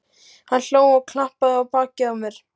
Hann hló og klappaði á bakið á mér.